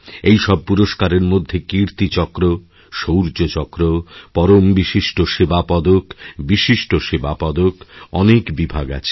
এই সব পুরস্কারের মধ্যে কীর্তিচক্র শৌর্য চক্র পরম বিশিষ্ট সেবা পদক বিশিষ্ট সেবা পদক অনেকবিভাগ আছে